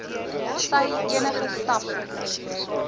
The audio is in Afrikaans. sy enige stappe